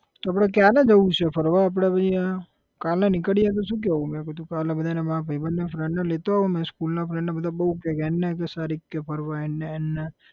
તો આપડે ક્યારે જઉં છે ફરવા આપડે પછી આ, કાલે નીકળીએ તો શુ કહેવું? મેં કીધું કાલે બધાને મારા ભાઈબંધને friend ને લેતો આવું મેં school ના friend ને બધા બહુ કેય કે હેડને શરીફ કે ફરવા હેડને હેડને